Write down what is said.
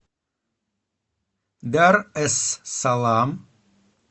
дар эс салам